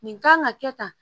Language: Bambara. Nin kan ka kɛ tan